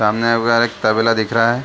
सामने में एक तबेला दिख रहा है।